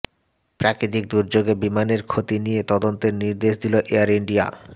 প্রাকৃতিক দুর্যোগে বিমানের ক্ষতি নিয়ে তদন্তের নির্দেশ দিল এয়ার ইন্ডিয়া